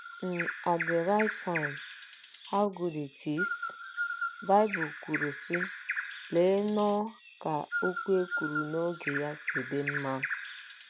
n at the right time — how good it is! ” Baịbụl kwuru, sị: ‘ Lee nnọọ ka okwu e kwuru n’oge ya si dị mma! ’